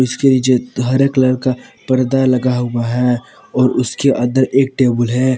इसके नीचे हरे कलर का पर्दा लगा हुआ है और उसके अंदर एक टेबल है।